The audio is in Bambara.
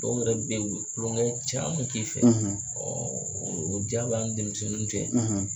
Dɔw yɛrɛ bɛ yen u bɛ kulonkɛ caman k'i fɛ o ja b' an ni denmisɛnnin .